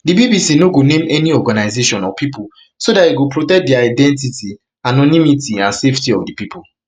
di bbc no bbc no go name any organisation or pipo so dat e go protect di identity anonymity and safety of pipo